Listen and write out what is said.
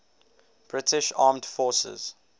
british armed forces